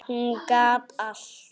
Hún gat allt.